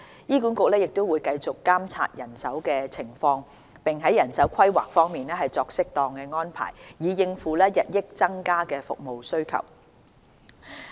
醫管局會繼續監察人手情況，並在人手規劃方面作適當安排，以應付日益增加的服務需求。